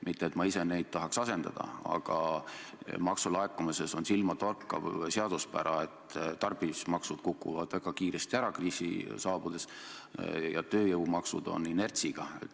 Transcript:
Mitte et ma ise tahaks neid asendada, aga maksulaekumises on silmatorkav seaduspära, et tarbimismaksud kukuvad kriisi saabudes väga kiiresti ära, tööjõumaksud aga on inertsiga.